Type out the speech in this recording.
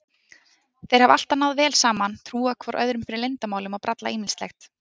Þeir hafa alltaf náð vel saman, trúað hvor öðrum fyrir leyndarmálum og brallað ýmislegt.